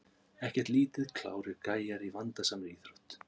Ekkert lítið klárir gæjar í vandasamri íþrótt!